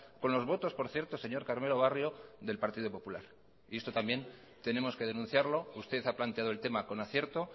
con los votos por cierto señor carmelo barrio del partido popular y esto también tenemos que denunciarlo usted ha planteado el tema con acierto